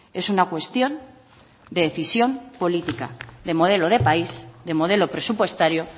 es una cuestión de decisión política de modelo de país de modelo presupuestario